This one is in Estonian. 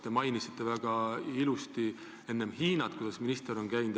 Te mainisite enne õigustatult Hiinat – et maaeluminister on seal käinud.